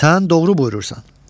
Sən doğru buyurursan.